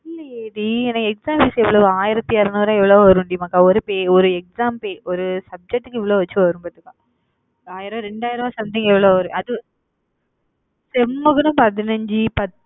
இல்லையே டி, எனக்கு exam fees எவ்வளவு? ஆயிரத்தி இருநூறு எவ்ளோ வரும் டி மாக்கா? ஒரு fee ஒரு exam fee ஒரு subject க்கு இவ்வளவு வச்சு வரும் பாத்துக்க ஆயிரம் ரெண்டாயிரம் something எவ்வளோவோ வரும் அது sem க்கு தான் பதினைஞ்சு பத்~